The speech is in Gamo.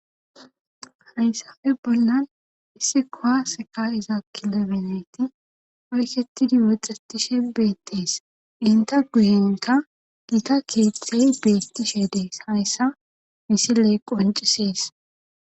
Hayssafe bollan issi kowaseka iza kilemeneyti oyketidi woxxetishe beettees inta guyenka giita keethethey beettishe dees hayssa misiley qoncisies.